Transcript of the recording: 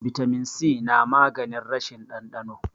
bitamin si namaganin rashin dandano